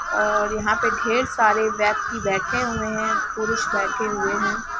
और यहाँ पर ढेर सारे व्यक्ति बैठे हुए हैं पुरुष बैठे हुए है।